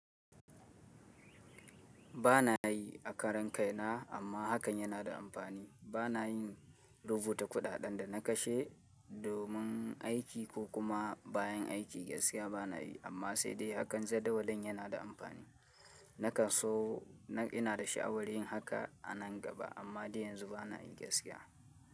Ba na yi a karan kaina amma hakan yana da amfani. Ba na yin rubuta kuɗaɗen da na kashe domin aiki ko kuma bayan aiki gaskiya ba na yi amma sai dai hakan jadawalin yana da amfani. Nakan so ina da sha'awar yin haka a nan gaba amma dai yanzu ba na yi gaskiya.